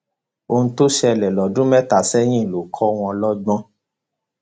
ohun tó ṣẹlẹ lọdún mẹta sẹyìn ló kọ wọn lọgbọn